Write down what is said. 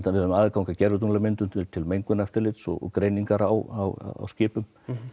við höfum aðgang að gervitunglamyndum til til mengunareftirlits og greiningar á skipum